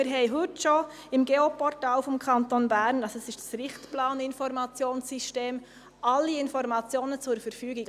Im Geoportal des Kantons Bern, also im Informationssystem zum Richtplan, sind schon heute sämtliche Informationen vorhanden.